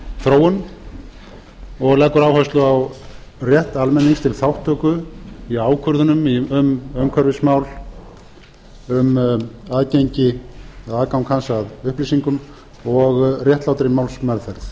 þróun og leggur áherslu á rétt almennings til þátttöku í ákvörðunum um umhverfismál um aðgengi eða aðgang hans að upplýsingum og réttlátri málsmeðferð